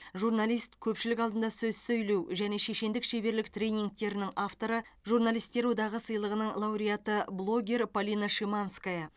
журналист көпшілік алдында сөз сөйлеу және шешендік шеберлік тренингтерінің авторы журналистер одағы сыйлығының лауреаты блогер полина шиманская